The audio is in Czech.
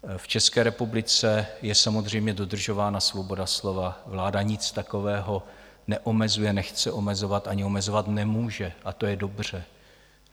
V České republice je samozřejmě dodržována svoboda slova, vláda nic takového neomezuje, nechce omezovat ani omezovat nemůže, a to je dobře.